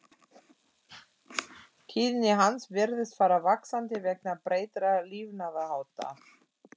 Tíðni hans virðist fara vaxandi vegna breyttra lifnaðarhátta.